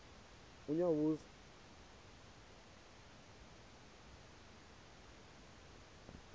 unyawuza